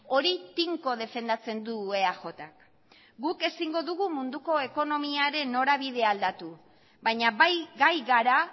hori tinko defendatzen du eajk guk ezingo dugu munduko ekonomiaren norabidea aldatu baina bai gai gara